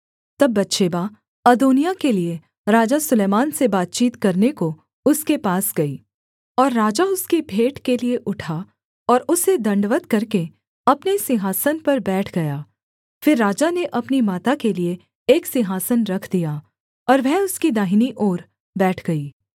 तब बतशेबा अदोनिय्याह के लिये राजा सुलैमान से बातचीत करने को उसके पास गई और राजा उसकी भेंट के लिये उठा और उसे दण्डवत् करके अपने सिंहासन पर बैठ गया फिर राजा ने अपनी माता के लिये एक सिंहासन रख दिया और वह उसकी दाहिनी ओर बैठ गई